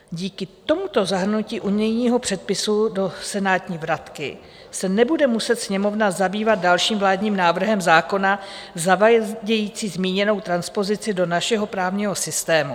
Díky tomuto zahrnutí unijního předpisu do senátní vratky se nebude muset Sněmovna zabývat dalším vládním návrhem zákona zavádějícím zmíněnou transpozici do našeho právního systému.